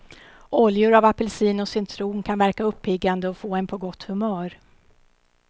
Oljor av apelsin och citron kan verka uppiggande och få en på gott humör.